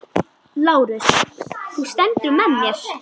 LÁRUS: Þú stendur með mér.